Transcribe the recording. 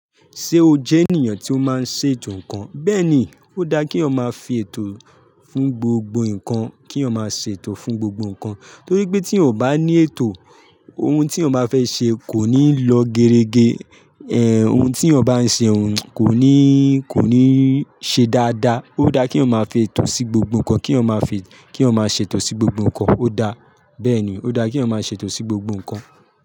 Ṣé o jẹ́ ènìyàn tí ó máa ń ṣètò ǹkan? Bẹ́ẹ̀ ni, ó dá kí eeyan máa fi ètò fún gbogbo ǹkan, kí eeyan máa ṣètò fún gbogbo ǹkan. Torí pé tí eeyan o bá ní ètò, ohun tí eeyan bá fẹ́ ṣe kò ní lọ gerege. Ohun tí eeyan bá ń ṣe òun kò ní, kò ní ṣe dáadáa. Ó dá kí eeyan máa fi ètò sí gbogbo ǹkan, kí eeyan máa fi, kí eeyan máa ṣètò sí gbogbo ǹkan. Ó dá, bẹ́ẹ̀ ni, ó dá kí eeyan máa ṣètò sí gbogbo ǹkan.